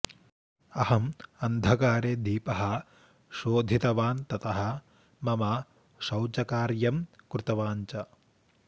अहं अन्धकारे दीपः शोधीतवान् ततः मम शौचकार्यं कृतवान् च